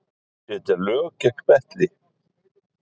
Setja lög gegn betli